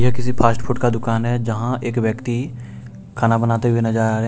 यह किसी fast food का दुकान है जहां एक व्यक्ति खाना बनाते हुए नजर आ रहे है।